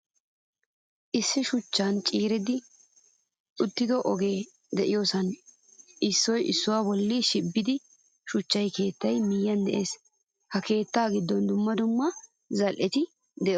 Issi shuchchaa ciiridi ottido oge de'iyosan issuwa issuwaa bolli shibbisido shuchcha keettay miyiyan de'ees. Ha keettattu giddon dumma dumma zal'etti deosona.